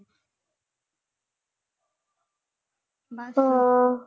ਹਾਂ।